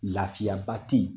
Laafiya ba tɛ ye.